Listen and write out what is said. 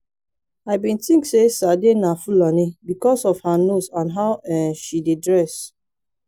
i bin think say sade na fulani because of her nose and how um she dey dress